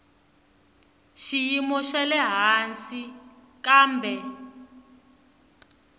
xiyimo xa le hansi kambe